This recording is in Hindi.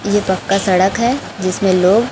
ये पक्का सड़क है जिसमें लोग--